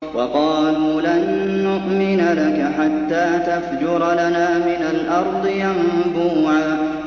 وَقَالُوا لَن نُّؤْمِنَ لَكَ حَتَّىٰ تَفْجُرَ لَنَا مِنَ الْأَرْضِ يَنبُوعًا